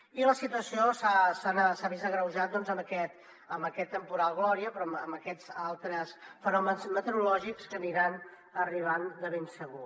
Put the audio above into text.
i la situació s’ha agreujat doncs amb aquest temporal gloria però també amb aquests altres fenòmens meteorològics que aniran arribant de ben segur